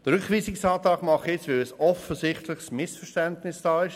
Den Rückweisungsantrag stelle ich, weil ein offensichtliches Missverständnis besteht.